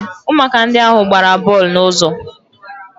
Ụmụaka ndị ahụ gbara bọọlụ n'ụzọ